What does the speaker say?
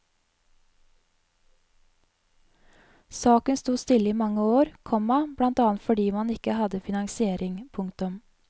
Saken sto stille i mange år, komma blant annet fordi man ikke hadde finansiering. punktum